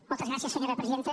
moltes gràcies senyora presidenta